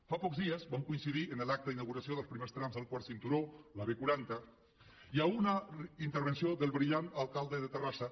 fa pocs dies vam coincidir en l’acte d’inauguració dels primers trams del quart cinturó la b quaranta i a una intervenció del brillant alcalde de terrassa